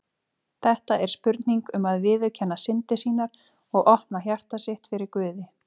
Þetta er spurning um að viðurkenna syndir sínar og opna hjarta sitt fyrir Guði.